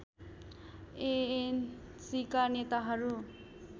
एएनसीका नेताहरू